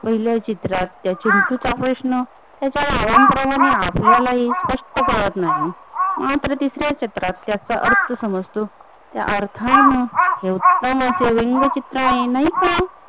पहिल्या चित्रात त्या चिंटूचा प्रश्न तो काही कालांतारानेही आपल्याला ही स्पष्ट कळत नाही मात्र दुस-या चित्रात त्याचा अर्थ समजतो त्या अर्थान उडतांनाचे व्यंग चित्र आहे नाही का